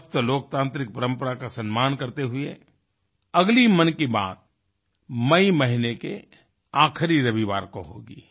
स्वस्थ लोकतांत्रिक परंपरा का सम्मान करते हुएअगली मन की बात मई महीने के आखरी रविवार को होगी